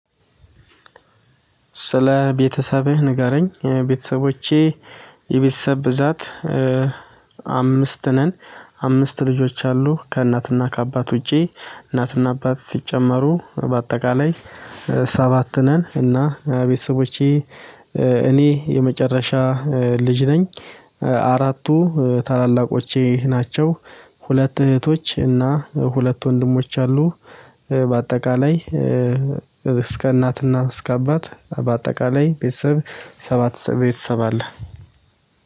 ስለ ቤተሰብህ ንገረኝ፤ ቤተሰቦቼ፣ የቤተሰብ ብዛት አምስት ነን አምስት ልጆች አሉ ከእናትና ከአባት ውጪ እናትና አባት ሲጨመሩ በአጠቃላይ ሰባት ነን። እና ቤተሰቦቼ እኔ የመጨረሻ ልጅ ነኝ። አራቱ ታላላቆቼ ናቸው ሁለት እህቶች እና ሁለት ወንድሞች አሉ። በአጠቃላይ እስከ እናትና እስከ አባት በአጠቃላይ ቤተሰብ ሰባት ቤተሰብ አለ